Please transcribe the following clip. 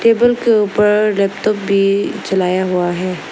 Table के ऊपर laptop भी चलाया हुआ है।